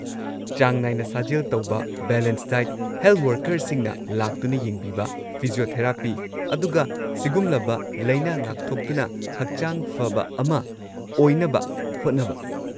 ꯆꯥꯡ ꯅꯥꯏꯅ ꯁꯥꯖꯦꯜ ꯇꯧꯕ, ꯕꯦꯂꯦꯟꯁ ꯗꯥꯏꯠ, ꯍꯦꯜꯊ ꯋꯔꯀꯔꯁꯤꯡꯅ ꯂꯥꯛꯇꯨꯅ ꯌꯦꯡꯕꯤꯕ, ꯐꯤꯖꯤꯑꯣꯊꯦꯔꯥꯄꯤ, ꯑꯗꯨꯒ ꯁꯤꯒꯨꯝꯂꯕ ꯂꯥꯏꯅꯥ ꯉꯥꯛꯊꯣꯛꯇꯨꯅ ꯍꯛꯆꯥꯡ ꯐꯕ ꯑꯃ ꯑꯣꯏꯅꯕ ꯍꯣꯠꯅꯕ꯫